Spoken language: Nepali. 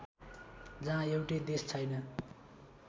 जहाँ एउटै देश छैन